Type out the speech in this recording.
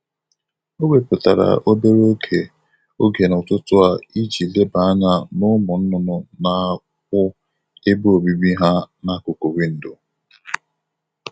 O wepụtara obere oge oge n’ụtụtụ a iji leba anya n’ụmụ nnụnụ na-akpụ ebe obibi ha n'akụkụ Windò.